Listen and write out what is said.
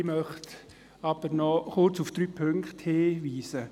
Ich möchte aber noch kurz auf drei Punkte hinweisen.